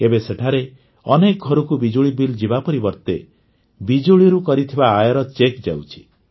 ଏବେ ସେଠାରେ ଅନେକ ଘରକୁ ବିଜୁଳି ବିଲ୍ ଯିବା ପରିବର୍ତ୍ତେ ବିଜୁଳିରୁ କରିଥିବା ଆୟର ଚେକ୍ ଯାଉଛି